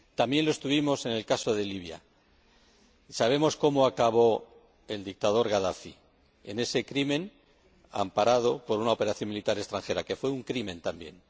También lo estuvimos en el caso de Libia y sabemos cómo acabó el dictador Gadafi un crimen amparado por una operación militar extranjera, que fue un crimen también.